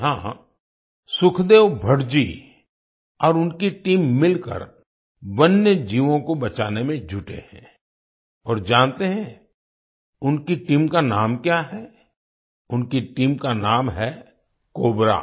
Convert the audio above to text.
यहाँ सुखदेव भट्ट जी और उनकी टीम मिलकर वन्य जीवों को बचाने में जुटे हैं और जानते हैं उनकी टीम का नाम क्या है उनकी टीम का नाम है कोबरा